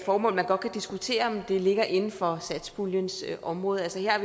hvor man godt kan diskutere om det ligger inden for satspuljens område her er